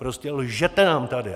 Prostě lžete nám tady!